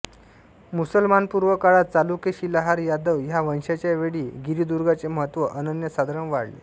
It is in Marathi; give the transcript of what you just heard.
मुसलमानपूर्व काळात चालुक्य शिलाहार यादव ह्या वंशांच्या वेळी गिरिदुर्गांचे महत्त्व अनन्यसाधारण वाढले